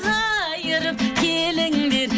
қайырып келіңдер